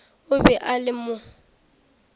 o be a le mo